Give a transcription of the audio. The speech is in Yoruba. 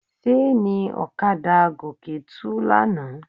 Ṣéènì ọ̀kadà Gòkè tú lánàá.